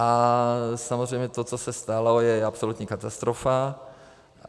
A samozřejmě to, co se stalo, je absolutní katastrofa.